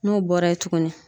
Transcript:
N'o bɔra ye tugunni